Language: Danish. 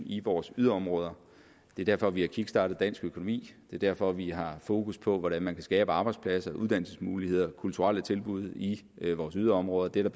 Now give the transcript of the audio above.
i vores yderområder det er derfor vi har kickstartet dansk økonomi det er derfor vi har fokus på hvordan man kan skabe arbejdspladser uddannelsesmuligheder og kulturelle tilbud i vores yderområder det er